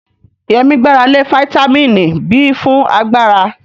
Yemi gbára lé fítámìnì B fún agbára.